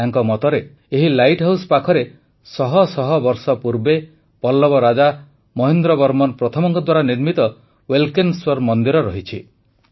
ତାଙ୍କ ମତରେ ଏହି ଲାଇଟ୍ ହାଉସ୍ ପାଖରେ ଶହ ଶହ ବର୍ଷ ପୂର୍ବେ ପଲ୍ଲବ ରାଜା ମହେନ୍ଦ୍ରବର୍ମନ ପ୍ରଥମ ଦ୍ୱାରା ନିର୍ମିତ ୱଲ୍କେନଶ୍ୱର ମନ୍ଦିର ରହିଛି